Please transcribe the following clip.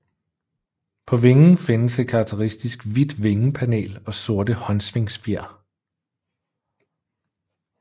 På vingen findes et karakteristisk hvidt vingepanel og sorte håndsvingfjer